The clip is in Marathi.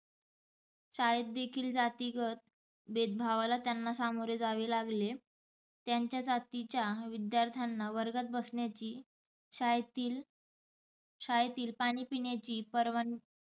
शाळेत देखील जातीगत भेदभावाला त्यांना सामोरे जावे लागले त्यांच्या जातीच्या विदयाथ्र्यांना वर्गात बसण्याची, शाळेतील शाळेतील पाणी पिण्याची परवानग